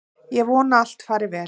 Ég vona að allt fari vel.